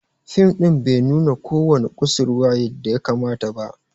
Fim din bai nuna ko wani kusurwa yadda ya kamata ba.